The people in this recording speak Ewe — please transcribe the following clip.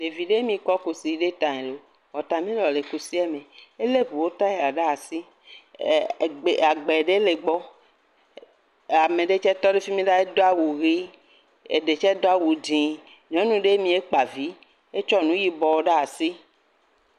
Ɖevi ɖee mi kɔ kusi ɖe ta. Wɔtamelɔ̃n le kusie me. Elé ŋuwo taya ɖe asi, ɛɛ egbe, agbɛ ɖe le egbɔ. Ame ɖe tsɛ tɔ ɖe fi mii ɖaa. Edo awu ʋee. Eɖe tsɛ do awu dzẽe. Nyɔnu ɖee mi. Ekpa vii. Esɔ nuu yibɔɔ ɖaa si.